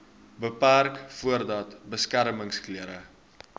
beperk voordat beskermingsklere